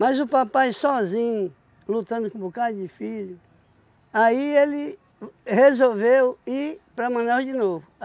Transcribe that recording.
Mas o papai sozinho, lutando com um bocado de filho, aí ele resolveu ir para Manaus de novo.